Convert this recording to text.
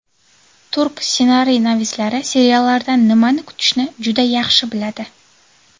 Turk ssenariynavislari seriallardan nimani kutishni juda yaxshi biladi.